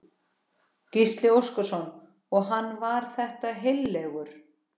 Gísli Óskarsson: Og hann var þetta heillegur?